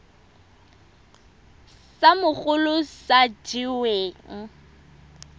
sa mogolo sa se weng